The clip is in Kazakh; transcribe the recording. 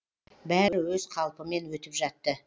бәрі өз қалпымен өтіп жатты